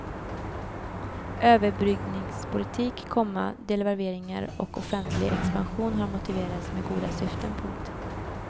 Överbryggningspolitik, komma devalveringar och offentlig expansion har motiverats med goda syften. punkt